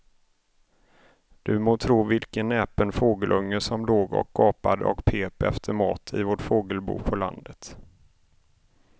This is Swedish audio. Du må tro vilken näpen fågelunge som låg och gapade och pep efter mat i vårt fågelbo på landet.